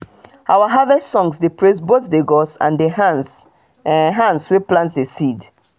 our harvest songs dey praise both the gods and the hands hands wey plant the seed.